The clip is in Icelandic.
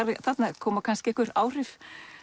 þarna koma kannski einhver áhrif